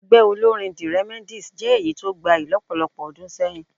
Ẹgbẹ́ olórín the Remedies jẹ́ èyí tó gbayì lọ́pọ̀lọpọ̀ ọdún sẹ́yìn